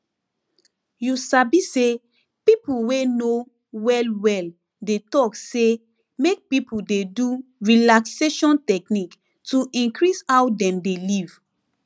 you sabi say people wey know well well dey talk say make people dey do relaxation technique to increase how dem dey live